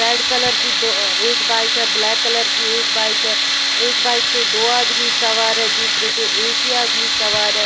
Red colour दो अ एक बाइक है ब्लैक कलर की एक बाइक है एक बाइक पे दो आदमी सवार है दूसरे पे एक ही आदमी सवार है।